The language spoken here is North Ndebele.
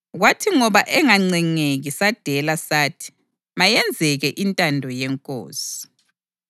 Kwathi ngoba engancengeki sadela sathi, “Mayenzeke intando yeNkosi.”